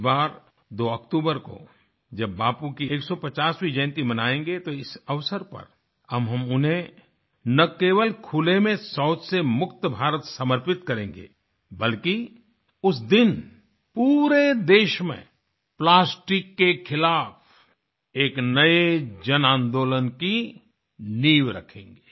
इस बार 2 अक्टूबर को जब बापू की 150वीं जयंती मनायेंगे तो इस अवसर पर हम उन्हें न केवल खुले में शौच से मुक्त भारत समर्पित करेंगे बल्कि उस दिन पूरे देश में प्लास्टिक के खिलाफ एक नए जनआंदोलन की नींव रखेंगे